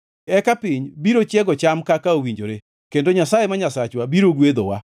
Eka piny biro chiego cham kaka owinjore kendo Nyasaye, ma Nyasachwa, biro gwedhowa.